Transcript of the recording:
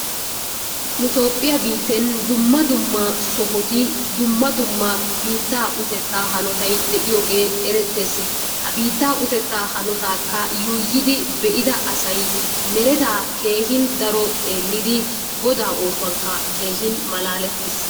Nu Toophphiya biitten dumma dumma sohoti dumma dumma biittaa utettaa hanotay de'iyogee erettees. Ha biittaa utettaa hanotaakka yuuyidi be'ida asay meretaa keehin daro xeellidi Godaa oosuwankka keehin malaalettiis.